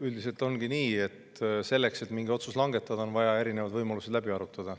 Üldiselt ongi nii, et selleks, et mingi otsus langetada, on vaja erinevad võimalused läbi arutada.